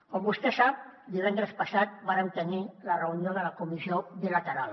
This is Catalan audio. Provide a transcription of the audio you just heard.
com vostè sap divendres passat vàrem tenir la reunió de la comissió bilateral